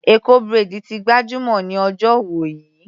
Eko braid ti gbajúmọ̀ ní ọjọ́ wọ̀nyí.